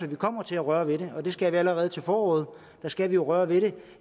at vi kommer til at røre ved det og det skal vi allerede til foråret der skal vi røre ved det